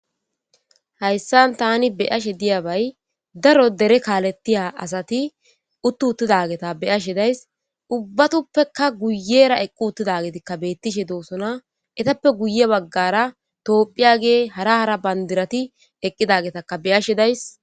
Hayssan tani beyashe diyabay daro dere kaalettiya asati uttu uttidageta beyashe days ubbatoppeka guyera eqqi uttida getikka beettishe doosona etappe guye baggara toophphiya gee hara hara bandirati eqqidagetakka beyashe days.